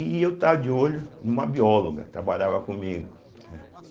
E eu estava de olho numa bióloga que trabalhava comigo, né.